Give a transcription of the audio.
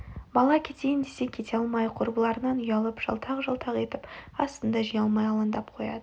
бала кетейін десе кете алмай құрбыларынан ұялып жалтақ-жалтақ етіп асын да жей алмай аландап қояды